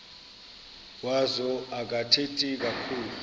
wazo akathethi kakhulu